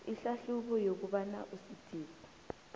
ihlahlubo yokobana usidisi